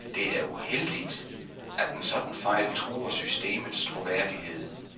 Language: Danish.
Det er uheldigt, at en sådan fejl truer systemets troværdighed.